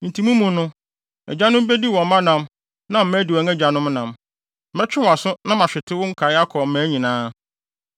Enti mo mu no, agyanom bedi wɔn mma nam na mma adi wɔn agyanom nam. Mɛtwe wʼaso na mahwete wo nkae akɔ mmaa nyinaa.